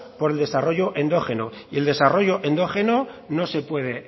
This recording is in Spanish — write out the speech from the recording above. por el desarrollo endógeno y el desarrollo endógeno no se puede